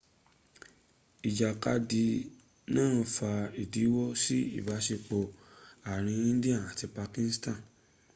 ijakadi naa fa idinwo si ibasepo aarin india ati pakistan